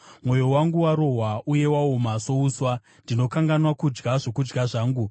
Mwoyo wangu warohwa uye waoma souswa; ndinokanganwa kudya zvokudya zvangu.